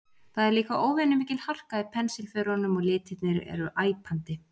Það er líka óvenju mikil harka í pensilförunum og litirnir eru æpandi.